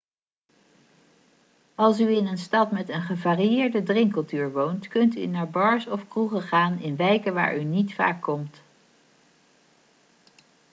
als u in een stad met een gevarieerde drinkcultuur woont kunt u naar bars of kroegen gaan in wijken waar u niet vaak komt